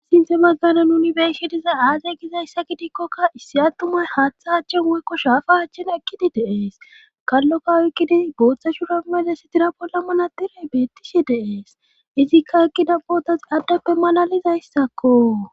Sinthe baggana nuni beeshidiza aaze gizayssa gidikkokka issi attumay haaththa haachchen woykko shaafa achchen ekkidi deees kallokka oykkidi booththa shura mele sitira bolla manatire beettishe deees izikka ekkida bootas addeppe malalizayssakko